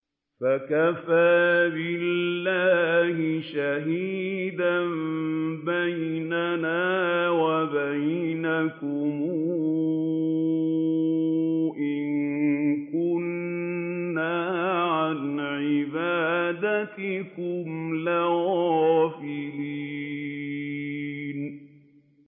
فَكَفَىٰ بِاللَّهِ شَهِيدًا بَيْنَنَا وَبَيْنَكُمْ إِن كُنَّا عَنْ عِبَادَتِكُمْ لَغَافِلِينَ